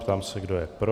Ptám se, kdo je pro.